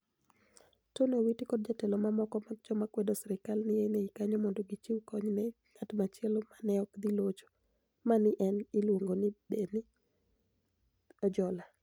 Toniy Owiti kod jotelo mamoko mag joma kwedo sirkal ni e nii kaniyo monido gichiw koniy ni e nig'at machielo ma ni e ok dhi locho, ma ni e iluonigo nii Beni Ojola .